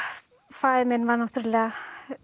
faðir minn var náttúrulega